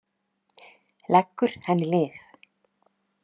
Leggur henni lið.